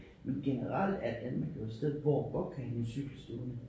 Men generelt er Danmark jo et sted hvor du godt kan have en cykel stående